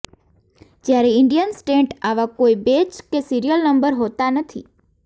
જ્યારે Indian stent આવા કોઇ બેચ કે સિરિયલ નંબર હોતા નથી